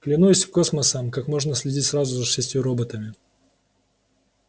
клянусь космосом как можно следить сразу за шестью роботами